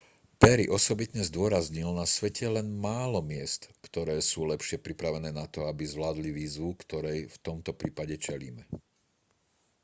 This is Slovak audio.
perry osobitne zdôraznil na svete je len málo miest ktoré sú lepšie pripravené na to aby zvládli výzvu ktorej v tomto prípade čelíme